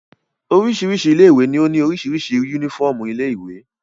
Oríṣiríṣi ilé-ìwé ni ó ní oríṣiríṣi únífọ́ọ́mù ilé-ìwé.